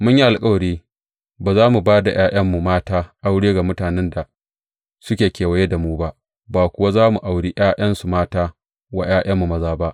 Mun yi alkawari ba za mu ba da ’ya’yanmu mata aure ga mutanen da suke kewaye da mu ba, ba kuwa za mu auri ’ya’yansu mata wa ’ya’yanmu maza ba.